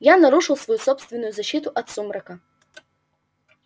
я нарушил свою собственную защиту от сумрака